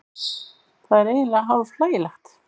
Það er eiginlega hálf hlægilegt